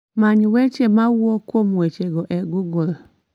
Many weche ma wuok kuom wechego e google